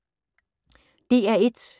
DR1